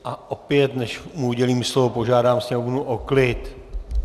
A opět, než mu udělím slovo, požádám sněmovnu o klid.